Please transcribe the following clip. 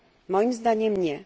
Moim zdaniem nie.